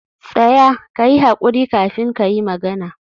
tsaya! kayi hakuri kafin kayi magana.